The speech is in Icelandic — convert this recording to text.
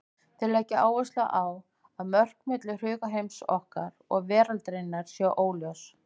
Þeir leggja áherslu á að mörk milli hugarheims okkar og veraldarinnar séu óljós.